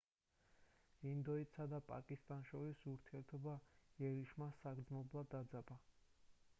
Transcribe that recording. ინდოეთსა და პაკისტანს შორის ურთიერთობა იერიშმა საგრძნობლად დაძაბა